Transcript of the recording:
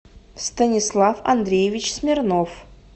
станислав андреевич смирнов